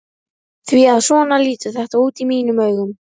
Því að svona lítur þetta út í mínum augum.